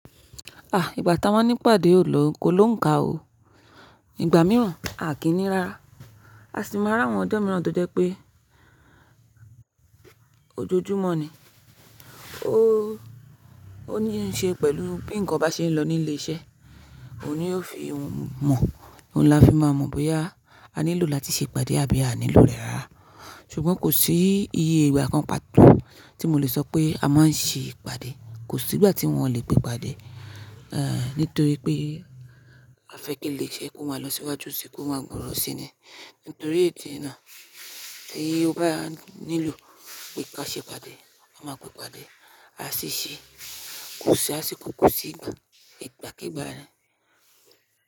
Ah! Ìgbà ta ma n ní pàdé ò lọ, ko ló ń ka o. Ìgbà mìíràn, a kì í ni rárá. A sì máa rí àwọn ọjọ́ mìíràn tó jẹ́ pé ojoojúmọ́ ni. Ó, ó ní í ṣe pẹ̀lú bí ǹkan bá ṣe ń lọ nílé iṣẹ́, òun ni yóò fi ohun mọ̀, ohun ni a fi máa mọ̀ bóyá a nílò láti ṣe ìpàdé àbí a nílò rẹ̀ rá. Ṣùgbọ́n kò sí iye ìgbà kan pàtó tí mo lè sọ pé a máa ń ṣe ìpàdé. Kò sí ìgbà tí wọn ò lè pé ìpàdé, eh, nítorí pé a fẹ́ kí ilé iṣẹ́ kó máa lọ síwájú síi, kó máa gbòòrò síi ni. Nítorí èdí náà, tí obáa nílò pé kí a ṣe ìpàdé, a máa pé ìpàdé. A sì ṣeé kò ṣí asìkó kò sí ìgbà, ìgbàkígbà ni.